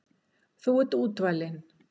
Þú ert útvalinn.